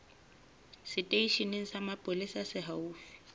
seteisheneng sa mapolesa se haufi